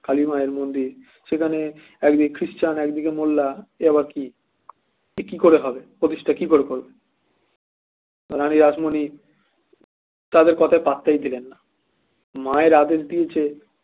কালী মায়ের মন্দির সেখানে একদিকে খ্রিশ্চান একদিকে মোল্লা এ আবার কি কি করে হবে প্রতিষ্ঠা কি করে করব রানী রাসমণি তাদের কথায় পাত্তাই দিলেন না মায়ের আদেশ দিয়েছে